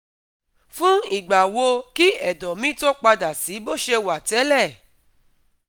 Fún ìgbà wo kí ẹ̀dọ̀ mi tó padà sí bó ṣe wà tẹ́lẹ̀?